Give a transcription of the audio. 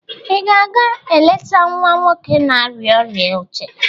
ị ga-aga eleta nwa nwoke na-arịa ọrịa uche?